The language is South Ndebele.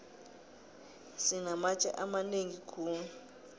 sinamatje amanengi khulu